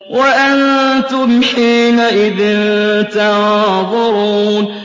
وَأَنتُمْ حِينَئِذٍ تَنظُرُونَ